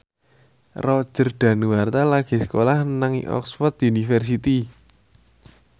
Roger Danuarta lagi sekolah nang Oxford university